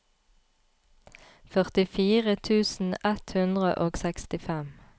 førtifire tusen ett hundre og sekstifem